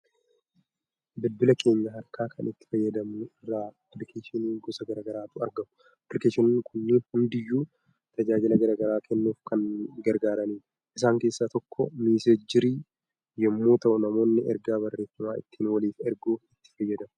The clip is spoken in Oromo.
Bilbila keenya harkaa kan itti fayyadamnu irra appilikeeshinii gosa gara garaatu argamu. Appilikeeshinoonni kunneen hundiyyuu tajaajila gara garaa kennuuf kan gargaaranidha. Isaan keessaa tokko 'Misseenjerii' yommuu ta'u namoonni ergaa barreeffamaa ittiin waliif erguuf itti fayyadamu.